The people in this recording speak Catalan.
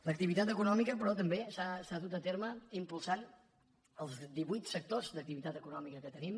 l’activitat econòmica però també s’ha dut a terme impulsant els divuit sectors d’activitat econòmica que tenim